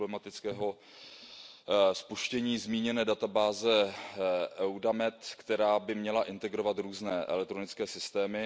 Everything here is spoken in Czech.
problematického spuštění zmíněné databáze Eudamed, která by měla integrovat různé elektronické systémy.